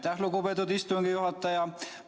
Aitäh, lugupeetud istungi juhataja!